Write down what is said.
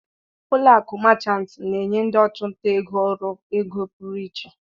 ụlọ akụ Machant na-enye ndị ọchụnta ego ọrụ ego pụrụ iche.